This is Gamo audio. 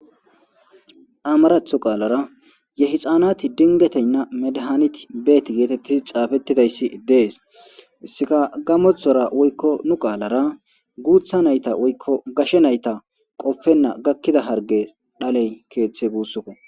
amaratho qaalara yehixaanati dingeteynna medahaaniti beeti geetettis xaafettidayssi dees sikagamothora woykko nu qaalara guutha nayta woykko gashe nayta qofenna gakkida harge dhaley keeththe guussoko